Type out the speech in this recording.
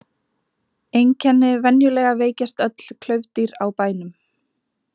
Einkenni Venjulega veikjast öll klaufdýr á bænum.